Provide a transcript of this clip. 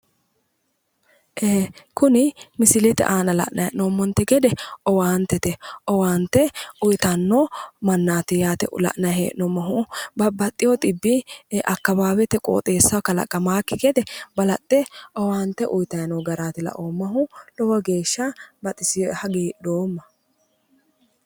Kuni misilete aana la'nay he'noomonite gede owaanitete owaanite uyitanno manaat yaate la'nayi he'noomohu babbaxewo dhibbi akkawaawete qooxesahho kalaqamakki gede balaxxe owaanite uyitayi noo garaati la"oomahu lowo geesha baxisewoe hagiidhooma.